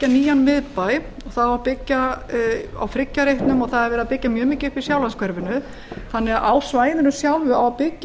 nýjan miðbæ það á að byggja á friggjarreitnum og það er verið að byggja mjög mikið upp í sjálandshverfinu þannig á svæðinu sjálfu á að byggja